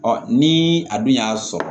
ni a dun y'a sɔrɔ